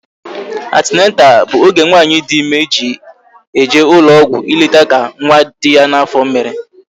Atineta bụ oge nwaanyị dị ịme ji eje ụlọ ọgwụ ileta ka nwa dị ya n'afọ mere